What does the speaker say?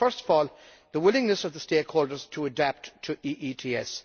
First of all, the willingness of the stakeholders to adapt to EETS.